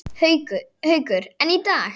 Haukur: En í dag?